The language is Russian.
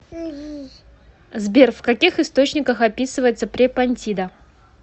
сбер в каких источниках описывается препонтида